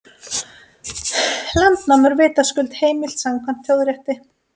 Landnám er vitaskuld heimilt samkvæmt þjóðarétti.